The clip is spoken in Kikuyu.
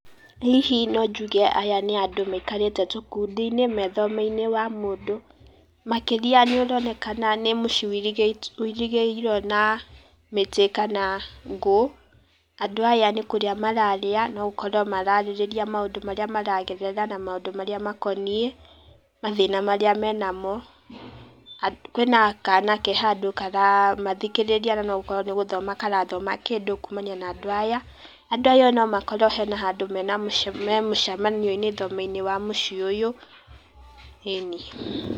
Hihi no njuge aya nĩ andũ maikarĩte tũkundi-inĩ me thome-inĩ wa mũndũ, makĩria nĩ ũronekana nĩ mũciĩ ũirĩgĩirwo na mĩtĩ kana ngũ. Andũ aya nĩ kũrĩa mararĩa, no ũkorwo mararĩrĩra maũndũ marĩa maragerera na maũndũ marĩa makoniĩ, mathĩna marĩa me na mo, kwĩna kana ke handũ karamathikĩrĩria na no ũkorwo nĩ gũthoma karathoma kĩndũ kumania na andũ aya, andũ aya no makorwo hena handũ me mũcamanio-inĩ thome-inĩ wa mũciĩ ũyũ, eni.